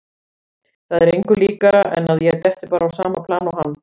Það er engu líkara en að ég detti bara á sama plan og hann.